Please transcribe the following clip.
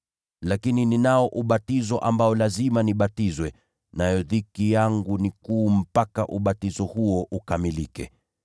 Lakini ninao ubatizo ambao lazima nibatizwe, nayo dhiki yangu ni kuu mpaka ubatizo huo ukamilike!